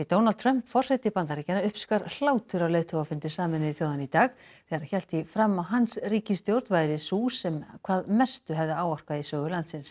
Donald Trump forseti Bandaríkjanna uppskar hlátur á leiðtogafundi Sameinuðu þjóðanna í dag þegar hann hélt því fram að hans ríkisstjórn væri sú sem hvað mestu hefði áorkað í sögu landsins